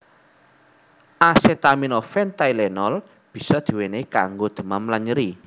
Asetaminofen Tylenol bisa di wenehi kanggo demam lan nyeri